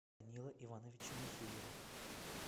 данила ивановича михеева